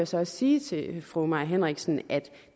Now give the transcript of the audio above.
så også sige til fru mai henriksen at